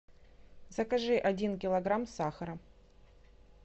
закажи один килограмм сахара